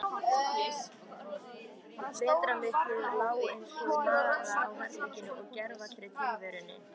Vetrarmyrkrið lá einsog mara á herberginu og gervallri tilverunni.